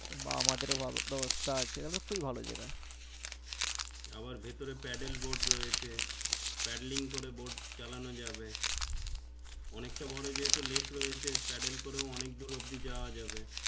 আবার ভেতরে paddleboard রয়েছে paddling করে boat চালানো যাবে অনেক তা বোরো যেহুতু lake রয়েছে paddle করেও অনেক দূর অবধি যাওয়া যাবে